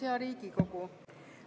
Hea Riigikogu!